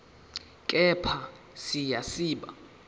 kepha siya siba